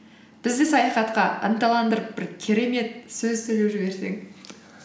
бізді саяхатқа ынталандырып бір керемет сөз сөйлеп жіберсең